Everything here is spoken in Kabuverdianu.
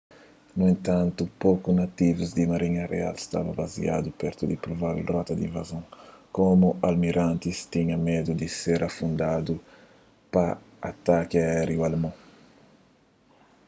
nu entantu poku nativus di marinha real staba baziadu pertu di provável rota di invazon komu almirantis tinha medu di ser afundadu pa ataki aériu alemon